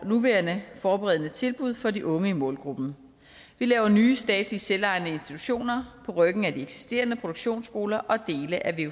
nuværende forberedende tilbud for de unge i målgruppen vi laver nye statslige selvejende institutioner på ryggen af de eksisterende produktionsskoler og dele af